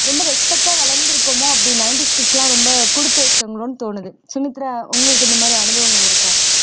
ரொம்ப respect ஆ வளர்ந்துருக்கோமோ அப்படி nineties kids எல்லாம் ரொம்ப குடுத்து வச்சாங்களோன்னு தோணுது சுமித்ரா உங்களுக்கு இந்த மாதிரி அனுபவங்கள் இருக்கா